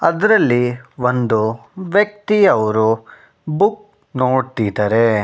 ಅದರಲ್ಲಿ ಒಂದು ವ್ಯಕ್ತಿಯವರು ಬುಕ್ ನೋಡ್ತಿದ್ದಾರೆ.